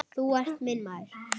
Hulda giftist Hannesi Hall.